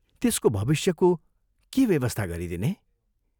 त्यसको भविष्यको के व्यवस्था गरिदिने?